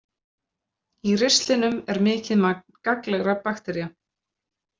Í ristlinum er mikið magn gagnlegra baktería.